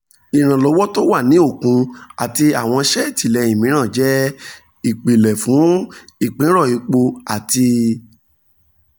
ìrànlọ́wọ́ tó wà ní òkun àti àwọn iṣẹ́ ìtìlẹ́yìn mìíràn jẹ́ ìpìlẹ̀ fún ìpínrọ̀ epo àti